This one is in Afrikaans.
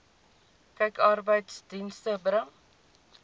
kyk arbeidsdienste bring